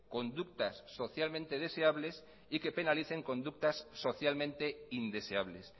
conductas socialmente deseables y que penalicen conductas socialmente indeseables